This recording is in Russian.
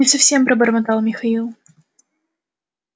не совсем пробормотал михаил